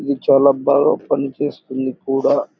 ఈవి చాల బాగా పని చేస్తుంది కూడా --